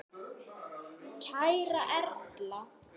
Kæra Erla.